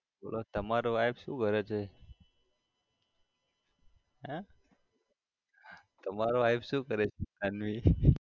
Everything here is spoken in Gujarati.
બોલો તમારા wife શું કરે છે? હે? તમાર wife શું કરે છે તન્વી?